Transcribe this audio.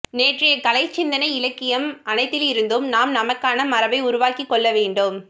நேற்றைய கலை சிந்தனை இலக்கியம் அனைத்திலிருந்தும் நாம் நமக்கான மரபை உருவாக்கிக்கொள்ளவேண்டும்